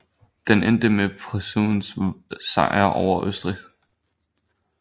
Den endte med Preussens sejr over Østrig